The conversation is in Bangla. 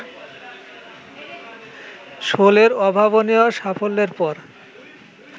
শোলের অভাবনীয় সাফল্যর পর